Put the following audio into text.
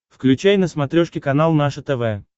включай на смотрешке канал наше тв